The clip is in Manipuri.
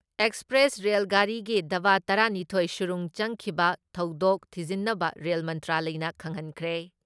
ꯑꯦꯛꯁꯄ꯭ꯔꯦꯁ ꯔꯦꯜ ꯒꯥꯔꯤꯒꯤ ꯗꯥꯕꯥ ꯇꯔꯥ ꯅꯤꯊꯣꯏ ꯁꯨꯔꯨꯡ ꯆꯪꯈꯤꯕ ꯊꯧꯗꯣꯛ ꯊꯤꯖꯤꯟꯅꯕ ꯔꯦꯜ ꯃꯟꯇ꯭ꯔꯥꯂꯌꯅ ꯈꯪꯍꯟꯈ꯭ꯔꯦ ꯫